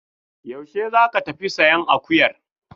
Yaushe za ka tafi sayan akuyar?